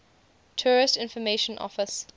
tourist information office